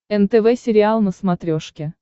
нтв сериал на смотрешке